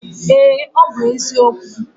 Ee, ọ bụ eziokwu